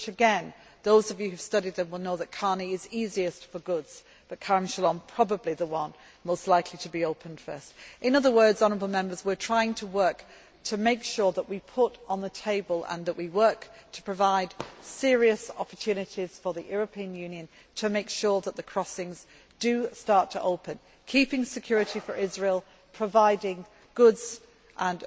Again, those of you who have studied them will know that Karni is easiest for goods but Kerem Shalom is probably the one most likely to be opened first. In other words, we are trying to make sure that we put on the table and that we work to provide serious opportunities for the European Union making sure that the crossings do start to open, keeping security for Israel, providing goods and